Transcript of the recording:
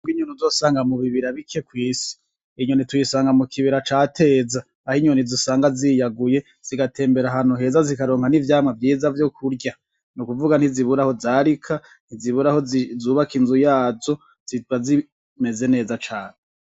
Inyoni usozosanga mubi bira bike kw'isi, iyi nyoni tuyisanga mukibira ca Teza ,aho inyoni usanga ziyaguye, zigatembera ahantu heza zikaronka n'ivyamwa vyiza vyo kurya ,nikuvuga ntizubura aho zarika, ntizubura aho z'ubaka inzu yazo, ziba zimeze neza cane.